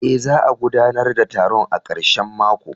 Eh, za a gudanar da taron a karshen mako.